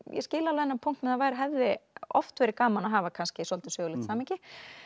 ég skil alveg þennan punkt að það hefði oft verið gaman að hafa svolítið sögulegt samhengi